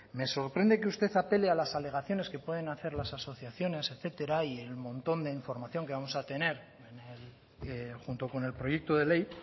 me sorprende que usted apele a las alegaciones que pueden hacer las asociaciones etcétera y el montón de información que vamos a tener junto con el proyecto de ley